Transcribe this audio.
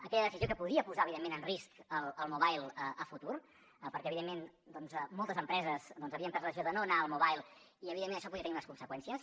aquella decisió que podia posar evidentment en risc el mobile a futur perquè evidentment doncs moltes empreses havien pres la decisió de no anar al mobile i evidentment això podia tenir unes conseqüències